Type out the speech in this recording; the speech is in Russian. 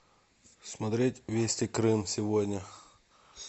смотреть вести крым сегодня